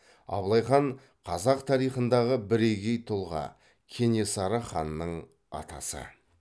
абылай хан қазақ тарихындағы бірегей тұлға кенесары ханның атасы